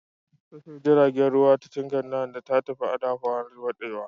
Tashar jiragen ruwa ta Tinkan Isand ta fi da Apapa daɗewa.